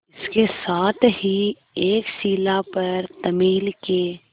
इसके साथ ही एक शिला पर तमिल के